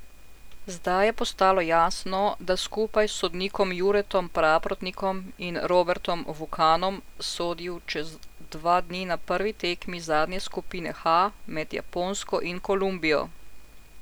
Zdaj je postalo jasno, da skupaj s sodnikoma Juretom Praprotnikom in Robertom Vukanom sodil čez dva dni na prvi tekmi zadnje skupine H med Japonsko in Kolumbijo.